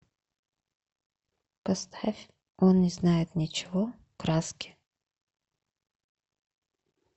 поставь он не знает ничего краски